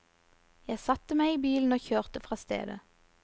Jeg satte meg i bilen og kjørte fra stedet.